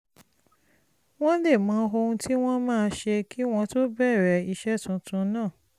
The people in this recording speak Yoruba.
wọ́n lè mọ ohun tí wọ́n máa ṣe kí wọ́n tó bẹ̀rẹ̀ iṣẹ́ tuntun náà